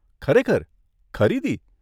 ખરેખર? ખરીદી?